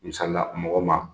Misali la mɔgɔ ma